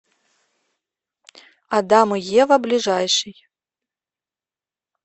адам и ева ближайший